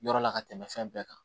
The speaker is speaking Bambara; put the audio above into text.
Yɔrɔ la ka tɛmɛ fɛn bɛɛ kan